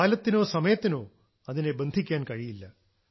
കാലത്തിനോ സമയത്തിനോ അതിനെ ബന്ധിക്കാൻ കഴിയില്ല